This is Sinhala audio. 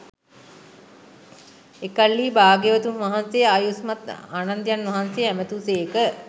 එකල්හී භාග්‍යවතුන් වහන්සේ ආයුෂ්මත් ආනන්දයන් වහන්සේ ඇමතූ සේක